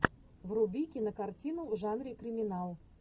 вруби кинокартину в жанре криминал